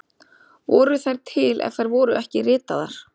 Voru þær til ef þær voru ekki ritaðar?